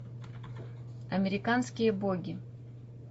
американские боги